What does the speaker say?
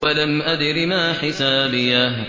وَلَمْ أَدْرِ مَا حِسَابِيَهْ